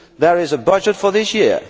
There is a budget for this year.